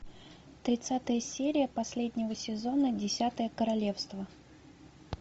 тридцатая серия последнего сезона десятое королевство